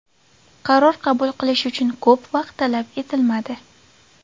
Qaror qabul qilish uchun ko‘p vaqt talab etilmadi”.